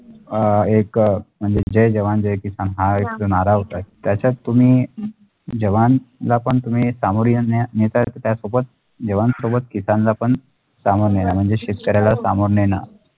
अ एक म्हजे जय जवान जय किसान हा एक नारा होता त्याचात तुम्ही जवानला पण तुम्ही समोरीलने निसार त्या focus जवानसोब्दत किसानला पण शामोर्नना म्णजे शेतकरीयाला शामोर्नना.